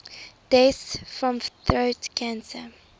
deaths from throat cancer